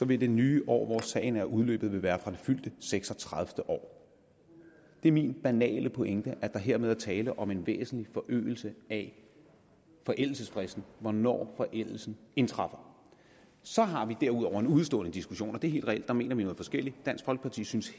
vil det nye år hvor sagen vil være udløbet være fra det fyldte seks og tredive år min banale pointe er at der hermed er tale om en væsentlig forøgelse af forældelsesfristen altså hvornår forældelsen indtræffer så har vi derudover en udestående diskussion det er helt reelt og der mener vi noget forskelligt dansk folkeparti synes